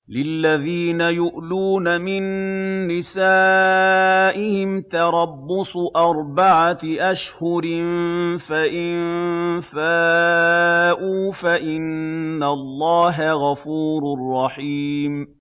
لِّلَّذِينَ يُؤْلُونَ مِن نِّسَائِهِمْ تَرَبُّصُ أَرْبَعَةِ أَشْهُرٍ ۖ فَإِن فَاءُوا فَإِنَّ اللَّهَ غَفُورٌ رَّحِيمٌ